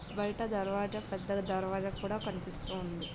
బయట దర్వాజ పెద్దగ దర్వాజ కూడా కనిపిస్తూవుంది.